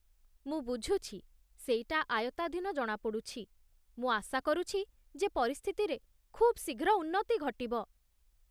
ମୁଁ ବୁଝୁଛି, ସେଇଟା ଆୟତ୍ତାଧୀନ ଜଣାପଡ଼ୁଛି, ମୁଁ ଆଶା କରୁଛି ଯେ ପରିସ୍ଥିତିରେ ଖୁବ୍ ଶୀଘ୍ର ଉନ୍ନତି ଘଟିବ